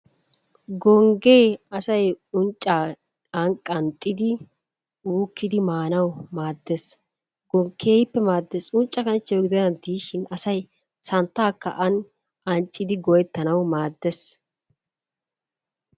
Gonggee asay unccaa an qanxxidi uukkidi maanawu maaddees. Keehippe maaddees. Uncca kanchchiyawu gidennan diishin asay santtaakka an anccidi go'ettanawu maaddees.